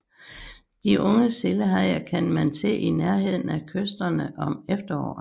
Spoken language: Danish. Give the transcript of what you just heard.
De unge sildehajer kan man se i nærheden af kysterne om efteråret